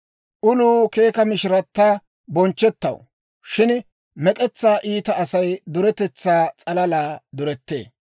Uluu keeka mishirata bonchchettaw; shin mek'etsaa iita Asay duretetsaa s'alala durettee.